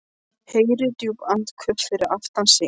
Heyrir djúp andköf fyrir aftan sig.